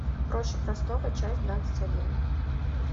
проще простого часть двадцать один